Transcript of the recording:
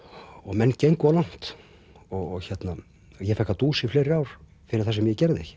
menn gengu of langt og ég fékk að dúsa í fleiri ár fyrir það sem ég gerði ekki